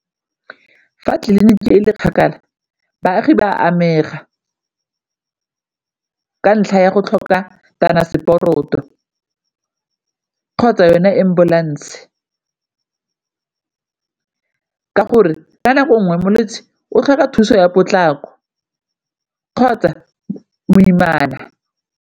Fa tleliniki e e kgakala baagi ba amega ka ntlha ya go tlhoka kgotsa yone ambulance, ka gore ka nako nngwe molwetse o tlhoka thuso ya potlako kgotsa moimana.